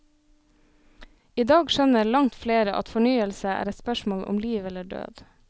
I dag skjønner langt flere at fornyelse er et spørsmål om liv eller død.